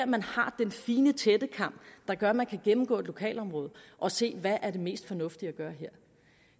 man har den fine tættekam der gør at man kan gennemgå et lokalområde og se hvad der er det mest fornuftige at gøre her